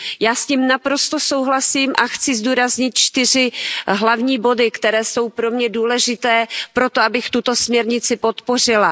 Já s tím naprosto souhlasím a chci zdůraznit čtyři hlavní body, které jsou pro mě důležité pro to, abych tuto směrnic podpořila.